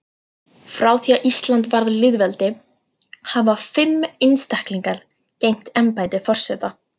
Frá því að Ísland varð lýðveldi hafa fimm einstaklingar gegnt embætti forseta.